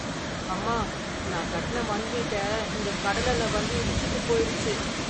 அம்மா, நான் கட்டின மண் வீட்ட இந்தக் கடல் அல வந்து இடிச்சுட்டு போயிடுச்சு .